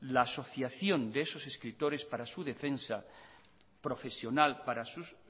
la asociación de esos escritores para su defensa profesional para su